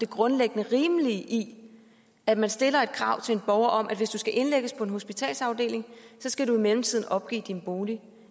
grundlæggende rimelige i at man stiller et krav til en borger om at hvis du skal indlægges på en hospitalsafdeling skal du i mellemtiden opgive din bolig